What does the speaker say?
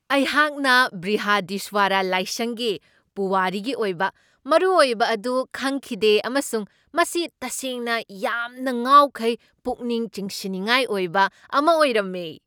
ꯑꯩꯍꯥꯛꯅ ꯕ꯭ꯔꯤꯍꯗꯤꯁ꯭ꯋꯥꯔꯥ ꯂꯥꯏꯁꯪꯒꯤ ꯄꯨꯋꯥꯔꯤꯒꯤ ꯑꯣꯏꯕ ꯃꯔꯨꯑꯣꯏꯕ ꯑꯗꯨ ꯈꯪꯈꯤꯗꯦ ꯑꯃꯁꯨꯡ ꯃꯁꯤ ꯇꯁꯦꯡꯅ ꯌꯥꯝꯅ ꯉꯥꯎꯈꯩ ꯄꯨꯛꯅꯤꯡ ꯆꯤꯡꯁꯤꯟꯅꯤꯡꯥꯉꯥꯏ ꯑꯣꯏꯕ ꯑꯃ ꯑꯣꯏꯔꯝꯃꯦ ꯫